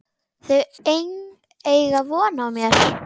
Þau eiga von á mér.